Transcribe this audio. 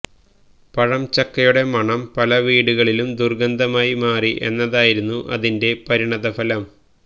പഴംചക്കയുടെ മണം പല വീടുകള്ക്കും ദുര്ഗന്ധമായി മാറി എന്നതായിരുന്നു അതിന്റെ പരിണതഫലം